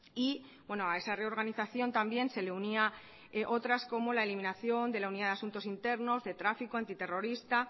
y a esa reorganización también se le unía otras como la eliminación de la unidad de asuntos internos de tráfico antiterrorista